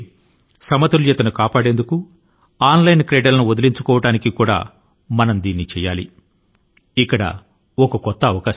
సమతౌల్యాన్ని సాధించడానికి online ఆటల ను వదలించుకోవడానికి మన పిల్లల కోసం మనమే ముందుకు రావాలి